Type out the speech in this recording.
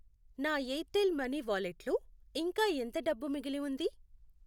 నా Airtel money వాలెట్లో ఇంకా ఎంత డబ్బు మిగిలి ఉంది?